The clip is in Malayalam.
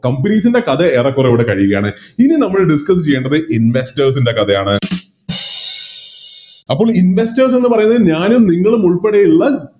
Companies ൻറെ കഥ ഏറെക്കുറെ ഇവിടെ കഴിയുകയാണ് ഇനി നമ്മൾ Discuss ചെയ്യേണ്ടത് Investors ൻറെ കഥയാണ് അപ്പൊ Investors എന്ന് പറയുന്നത് ഞാനും നിങ്ങളും ഉൾപ്പെടെയുള്ള